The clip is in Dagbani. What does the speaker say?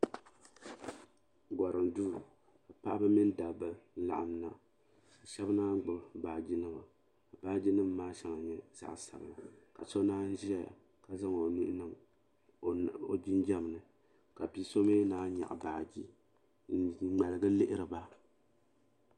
Gorim duu paɣaba mini dabba n laɣim na ka Sheba naanyi gbibi baagi nima ka baagi nima maa shɛŋa nyɛ zaɣa sabla ka naan ʒiya ka zaŋ o nuu niŋ o jinjiɛm ni ka bi'so mi naan nyaɣi baagi n ŋmaligi n lihiri ba.